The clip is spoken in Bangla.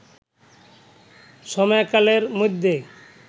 সময়কালের মধ্যে